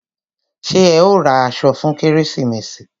Ṣé ẹ ó ra aṣọ fún kérésìmesì?